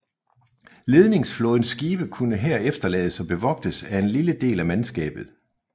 Ledingsflådens skibe kunne her efterlades og bevogtes af en lille del af mandskabet